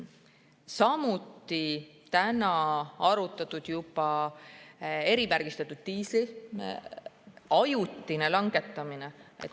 Samuti on täna arutatud erimärgistatud diisli ajutist langetamist.